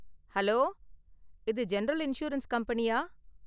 Hello, இது general insurance கம்பெனியா?